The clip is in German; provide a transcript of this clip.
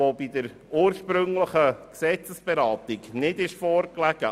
Bei der ursprünglichen Gesetzesberatung hat dieser Antrag nicht vorgelegen.